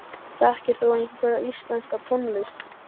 Þekkir þú einhverja íslenska tónlist?